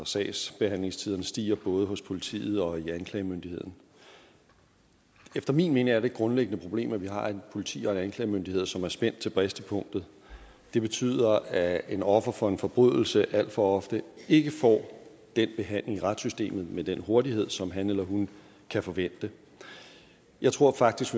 sagsbehandlingstiderne stiger både hos politiet og i anklagemyndigheden efter min mening er det grundlæggende problem at vi har et politi og en klagemyndighed som er spændt til bristepunktet det betyder at et offer for en forbrydelse alt for ofte ikke får den behandling i retssystemet med den hurtighed som han eller hun kan forvente jeg tror faktisk